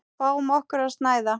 Fáum okkur að snæða.